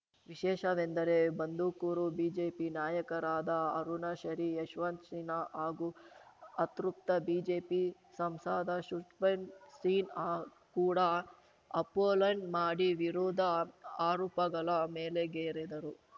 ವಿಶೇಷವೆಂದರೆ ಬಂದುಕೋರು ಬಿಜೆಪಿ ನಾಯಕರಾದ ಅರುಣ ಶರಿ ಯಶವಂತ ಸಿನ್ಹಾ ಹಾಗೂ ಅತೃಪ್ತ ಬಿಜೆಪಿ ಸಂಸಾದ ಷುಟ್ಬೆನ್ ಸಿನ್ಹಾ ಕೂಡ ಅಪೊಲೆಂಟ್ ಮಾಡಿ ವಿರುದ್ಧ ಆರೂಪಗಳ ಮೇಲೆಗೆರೆದರು